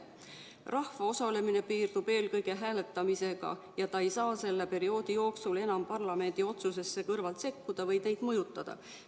Rahva osalemine piirdub eelkõige hääletamisega ja ta ei saa selle perioodi jooksul enam parlamendi otsusesse kõrvalt sekkuda või neid mõjutada.